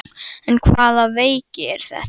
En hvaða veiki er þetta?